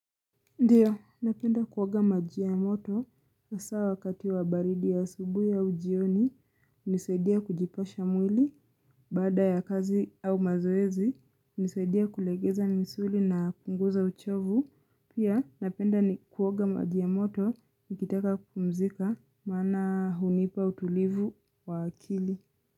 Ndiyo, napenda kuoga maji ya moto, hasa wakati wa baridi ya asubuhi au jioni, hunisaidia kujipasha mwili, baada ya kazi au mazoezi, hunisaidia kulegeza misuli na kupunguza uchofu, pia napenda nioga maji ya moto, nikitaka kupumzika, maana hunipa utulivu wa akili.